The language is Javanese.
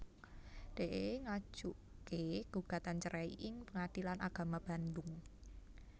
Dee ngajuké gugatan cerai ing Pengadilan Agama Bandung